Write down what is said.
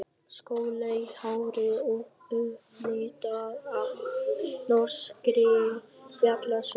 Skolleitt hárið upplitað af norskri fjallasól.